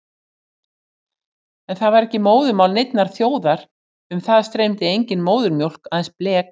En það var ekki móðurmál neinnar þjóðar, um það streymdi engin móðurmjólk, aðeins blek.